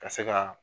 Ka se ka